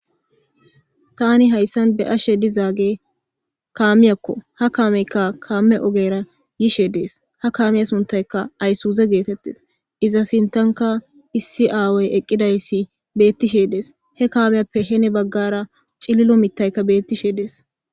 Tani hayisani ba'ashe dizageyi kammiyako. Ha kame ogera yishe desi, ha kamiya sunithayi isuze getetesi iza sinthanika issi aawayi eaidayisi betishe desi he kamiyape heni baggara cililo mithayi betishe desi